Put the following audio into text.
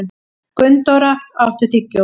Gunndóra, áttu tyggjó?